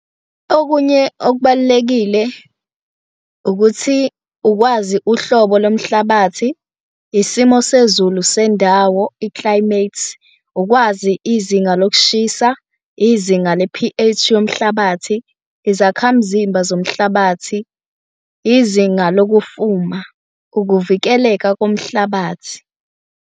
Okunye okubalulekile ukuthi ukwazi uhlobo lomhlabathi, isimo sezulu sendawo, i-climate, ukwazi izinga lokushiswa, izinga le-P_H yomhlabathi, izakhamzimba zomhlabathi, izinga lokufuma, ukuvikeleka komhlabathi.